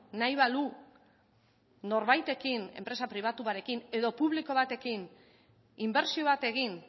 nahi balu norbaitekin enpresa pribatu batekin edo publiko batekin inbertsio bat egin